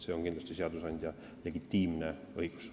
See on kindlasti seadusandja legitiimne õigus.